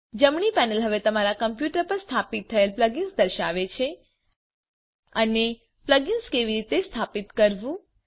જમણી પેનલ હવે તમારા કમ્પ્યુટર પર સ્થાપિત થયેલ પ્લગઈન્સ દર્શાવે છે અને પ્લગઈન્સ કેવી રીતે સ્થાપિત કરવું